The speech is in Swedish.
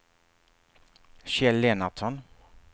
Kjell Lennartsson